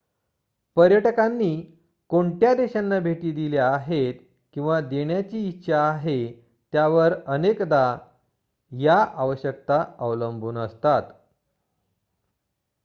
पर्यटकांनी कोणत्या देशांना भेटी दिल्या आहेत किंवा देण्याची इच्छा आहे त्यावर अनेकदा या आवश्यकता अवलंबून असतात